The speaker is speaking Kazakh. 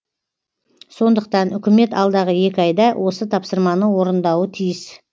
сондықтан үкімет алдағы екі айда осы тапсырманы орындауы тиіс